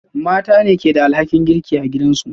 Mata ne ke da alhakin girki a gidansu